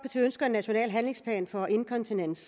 national handlingsplan for inkontinens